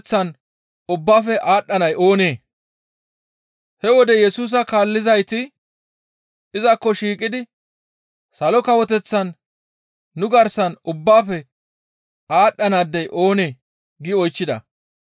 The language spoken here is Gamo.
He wode Yesusa kaallizayti izakko shiiqidi, «Salo Kawoteththan nu garsan ubbaafe aadhdhanaadey oonee?» gi oychchida.